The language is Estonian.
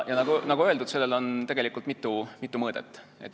Nagu öeldud, sellel on mitu mõõdet.